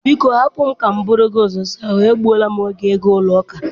Biko hapụ m ka m buru gị ụzọ saa ahụ, egbuola m oge ịga ụlọ ụka.